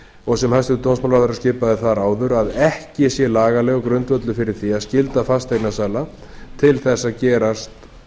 og sem hæstvirtur dómsmálaráðherra skipaði þar áður að ekki sé lagalegur grundvöllur fyrir því að skylda fasteignasala til þess að gerast